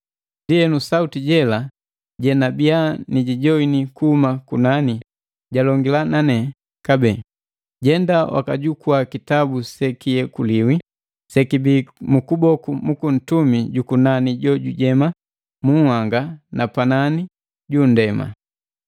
Ndienu, sauti jela jenabiya nijijoani kuhuma kunani, jalongila na ne kabee: “Jenda wakajukua kitabu sekiyekuliwi, sekibii mu kuboku juku ntumi jukunani jo jujema mu nhanga na panani ju nndema.”